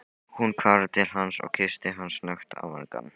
Hún hvarf til hans og kyssti hann snöggt á vangann.